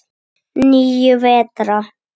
Það var ekkert annað.